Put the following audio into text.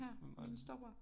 Hvem var det